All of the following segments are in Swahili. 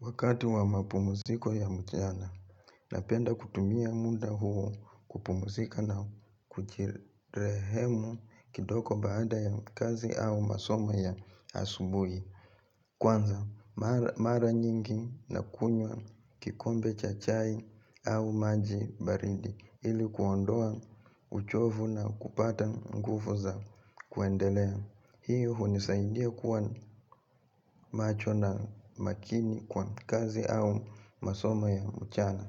Wakati wa mapumuziko ya mchana, napenda kutumia munda huo, kupumzika na kujirehemu kidoko baada ya kazi au masomo ya asubui. Kwanza, mara nyingi na kunywa kikombe chachai au maji baridi ilikuondoa uchovu na kupata nguvu za kuendelea. Hiyo hunisaidia kuwa macho na makini kwa, kazi au masomo ya mchana.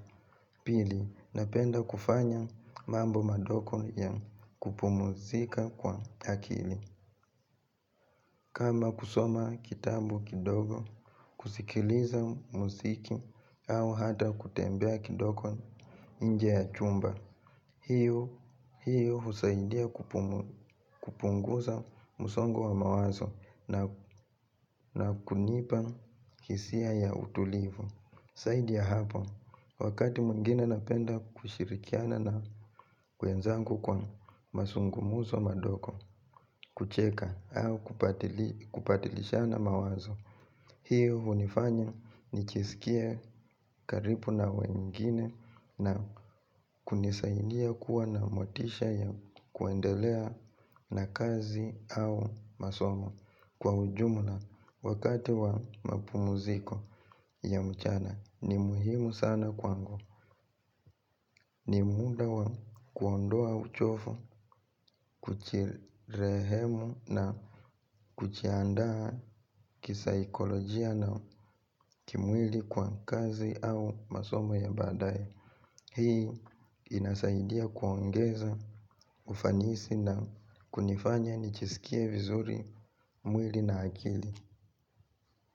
Pili, napenda kufanya mambo madogo ya kupumuzika kwa akili. Kama kusoma kitabu kidogo, kusikiliza muziki, au hata kutembea kidogo inje ya chumba, hiyo husaidia kupunguza musongo wa mawazo na kunipa hisia ya utulivu. Zaidi ya hapo, wakati mwingine napenda kushirikiana na kuenzangu kwa masungumuso madoko. Kucheka, au kubatilishana mawazo. Hiyo hunifanya nijisikie karipu na wengine na kunisaindia kuwa na motisha ya kuendelea na kazi au masomo kwa ujumla wakati wa mapumziko ya mchana ni muhimu sana kwangu. Ni munda wa kuondoa uchofu kuchirehemu na kujiandaa kisaikolojia na kimwili kwa kazi au masomo ya badaye. Hii inasaidia kuongeza ufanisi na kunifanya nichisikie vizuri mwili na akili.